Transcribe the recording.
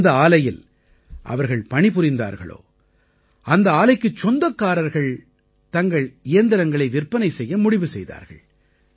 எந்த ஆலையில் அவர்கள் பணி புரிந்தார்களோ அந்த ஆலைக்குச் சொந்தக்காரர்கள் தங்கள் இயந்திரங்களை விற்பனை செய்ய முடிவு செய்தார்கள்